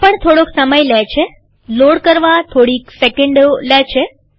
આ પણ થોડોક સમય લે છેલોડ કરવા થોડીક સેકન્ડો લે છે